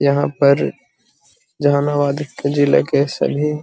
यहाँ पर जहानाबाद जिले के सभी --